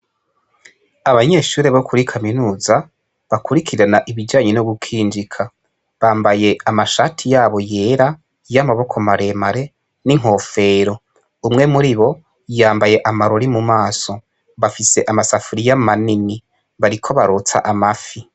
Abanyeshure bo kuri kaminuza bakurikirana ibijanye no gukinjika bambaye amashati yabo yera y'amaboko maremare n'inkofero umwe muri bo yambaye amarori mu maso bafise amasafuriya manini bariko barotsa amafi.